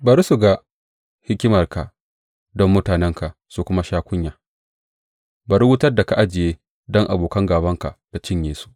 Bari su ga himmarka don mutanenka su kuma sha kunya; bari wutar da aka ajiye don abokan gābanka ta cinye su.